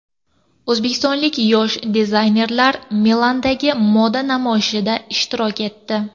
O‘zbekistonlik yosh dizaynerlar Milandagi moda namoyishida ishtirok etdi.